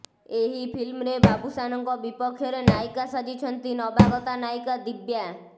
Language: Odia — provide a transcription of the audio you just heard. ଏହି ଫିଲ୍ମରେ ବାବୁସାନଙ୍କ ବିପକ୍ଷରେ ନାୟିକା ସାଜିଛନ୍ତି ନବାଗତା ନାୟିକା ଦିବ୍ୟା